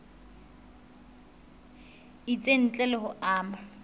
itseng ntle le ho ama